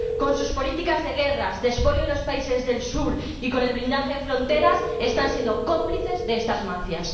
Con sus políticas de guerras, de expolio de los países del Sur y con el blindaje de fronteras están siendo cómplices de estas mafias.